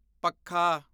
ਪੱਖਾ